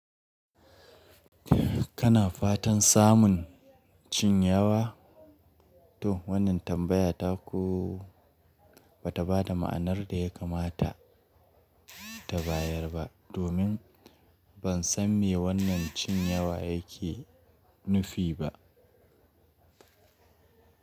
Kana fatan samun cin yawa? To wannan tambaya ta ku bata ba da ma'anar da ya kamata ta bayar ba, domin ban san me wannan cin yawa yake nufi ba.